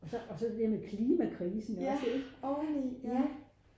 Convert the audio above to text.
og så det med klimakrisen også ikke